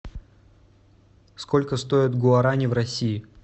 сколько стоят гуарани в россии